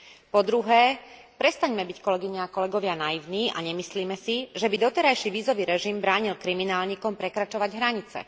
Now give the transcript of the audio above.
Po druhé, prestaňme byť, kolegyne a kolegovia, naivní a nemyslíme si, že by doterajší vízový režim bránil kriminálnikom prekračovať hranice.